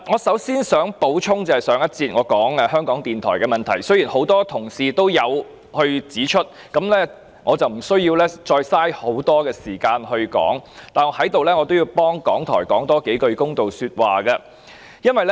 首先，我想補充我在上一節談及香港電台的問題，雖然有多位同事已指出問題，我無須再花很多時間闡述，但我也要為港台多說一些公道話。